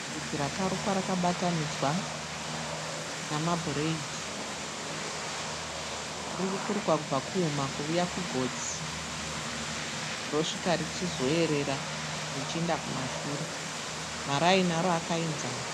Vhudzi rakarukwa rakabatanidzwa namabhureidhi. Riri kurukwa kubva kuhuma kuvuya kugotsi rosvika richizoerera richichienda kumashure. Maraini aro akaenzana.